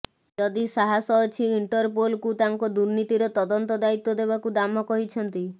ଯଦି ସାହସ ଅଛି ଇଣ୍ଟରପୋଲକୁ ତାଙ୍କ ଦୁର୍ନୀତିର ତଦନ୍ତ ଦାୟୀତ୍ୱ ଦେବାକୁ ଦାମ କହିଛନ୍ତି